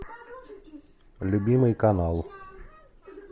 любимый канал